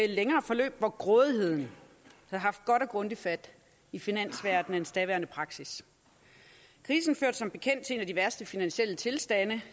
længere forløb hvor grådigheden havde haft godt og grundigt fat i finansverdenens daværende praksis krisen førte som bekendt til en af de værste finansielle tilstande